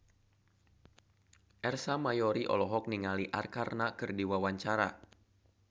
Ersa Mayori olohok ningali Arkarna keur diwawancara